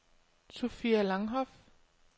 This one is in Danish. Sofia Langhoff